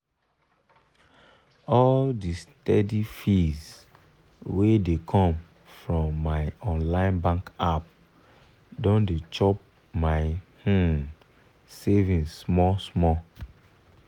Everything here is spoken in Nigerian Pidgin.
all the steady fees wey dey come from my online bank app don dey chop my um savings small small.